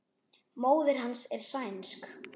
Móðir hans er sænsk.